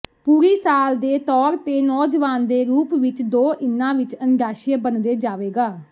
ਪੂਰੀ ਸਾਲ ਦੇ ਤੌਰ ਤੇ ਨੌਜਵਾਨ ਦੇ ਰੂਪ ਵਿੱਚ ਦੋ ਇਨਾ ਵਿਚ ਅੰਡਾਸ਼ਯ ਬਣਦੇ ਜਾਵੇਗਾ